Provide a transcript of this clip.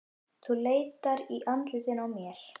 Þú leitar í andlitinu á mér.